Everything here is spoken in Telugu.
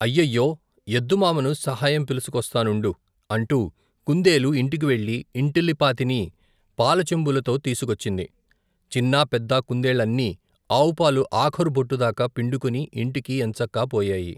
అయ్యయ్యో, ఎద్దు మామను సహాయం పిలుసుకొస్తానుండు! అంటూ కుందేలు ఇంటికి వెళ్ళి ఇంటిల్లిపాతినీ పాలచెంబులతో తీసుకొచ్చింది. చిన్నా పెద్ద కుందేళ్ళన్నీ ఆవుపాలు ఆఖరు బొట్టుదాకా పిండుకుని ఇంటికి ఏంచక్కాపోయాయి.